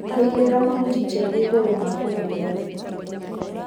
Kũigĩrĩra mahuti tĩri igũrũ ma kũũhumbĩra